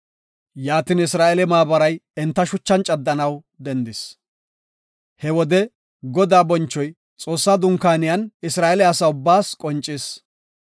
Yaatin Isra7eele maabaray enta shuchan caddanaw dendis. He wode Godaa bonchoy Xoossaa Dunkaaniyan Isra7eele asa ubbaas qoncis.